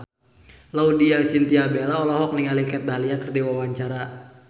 Laudya Chintya Bella olohok ningali Kat Dahlia keur diwawancara